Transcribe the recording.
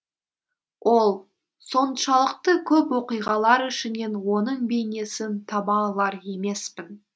ол соншалықты көп оқиғалар ішінен оның бейнесін таба алар емеспін